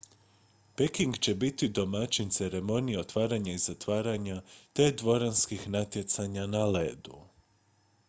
peking će biti domaćin ceremonije otvaranja i zatvaranja te dvoranskih natjecanja na ledu